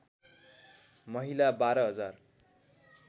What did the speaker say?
महिला १२ हजार